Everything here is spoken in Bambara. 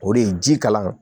O de ye ji kalan